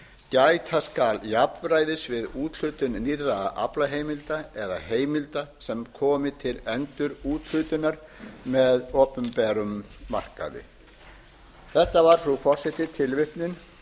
gæta skal jafnræðis við úthlutun nýrra aflaheimilda eða heimilda sem komi til endurúthlutunar með opinberum markaði þetta var frú forseti tilvitnun